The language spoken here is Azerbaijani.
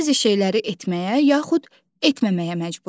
Bəzi şeyləri etməyə yaxud etməməyə məcburuq.